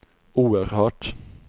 oerhört